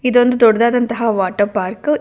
ಇದೊಂದು ದೊಡ್ಡದಾದಂತಹ water park .